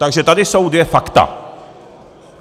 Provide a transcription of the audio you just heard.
Takže tady jsou dvě fakta.